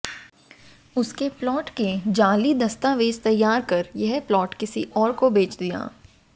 उसके प्लाट के जाली दस्तावेज तैयार कर यह प्लाट किसी और को बेच दिया